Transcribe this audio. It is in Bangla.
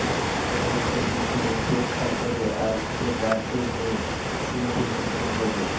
কংগ্রেসের বিক্ষোভ উপেক্ষা করে আজ ফের রাজ্যের হয়ে সিংভি সুপ্রিম কোর্টে